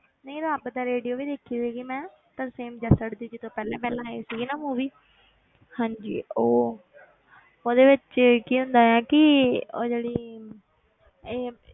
ਨਹੀਂ ਰੱਬ ਦਾ radio ਵੀ ਦੇਖੀ ਸੀਗੀ ਮੈਂ ਤਰਸੇਮ ਜੱਸੜ ਦੀ ਜਦੋਂ ਪਹਿਲਾਂ ਪਹਿਲਾਂ ਆਈ ਸੀਗੀ ਨਾ movie ਹਾਂਜੀ ਉਹ ਉਹਦੇ ਵਿੱਚ ਕੀ ਹੁੰਦਾ ਹੈ ਕਿ ਉਹ ਜਿਹੜੀ ਇਹ